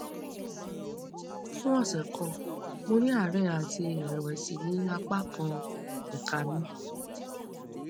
fún ọsẹ kan mo ní àárẹ àti ìrẹwẹsì ní apá kan ẹka mi